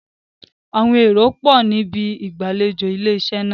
Àwọn èrò pọ̀ ní ibi ìgbàlejò ilé iṣẹ́ náà.